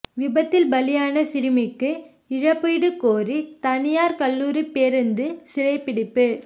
விபத்தில் பலியான சிறுமிக்கு இழப்பீடு கோரி தனியாா் கல்லூரி பேருந்து சிறைபிடிப்பு